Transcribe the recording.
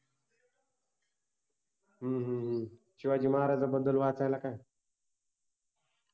हम्म शिवाजि महाराजांबद्दल वाचायला काय